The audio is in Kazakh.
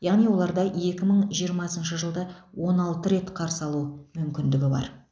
яғни оларда екі мың жиырмасыншы жылды он алты рет қарсы алу мүмкіндігі бар